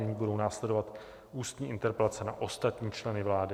Nyní budou následovat ústní interpelace na ostatní členy vlády.